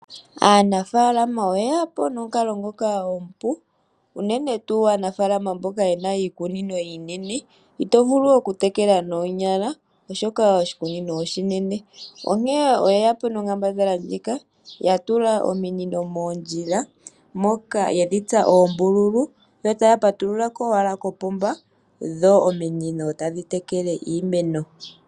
Aanafaalama oye yapo nomukalo ngoka omupu unene tuu aanafaalama mboka yena iikunino iinene, ito vulu oku tekela noonyala, oshoka oshikunino oshinene. Onkene oyeyapo nonkaambadhala ndjika, ya tula ominino moondjila, moka yedhi tsa oombululu yo taya patululako owala kopomba, dho ominino tadhi tekele iimeno.